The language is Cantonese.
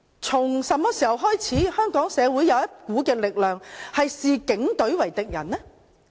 從何時開始，香港社會有一股力量視警隊為敵人呢？